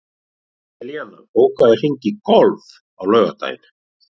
Elíanna, bókaðu hring í golf á laugardaginn.